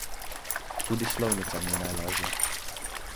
Tudi slovnica ni najlažja.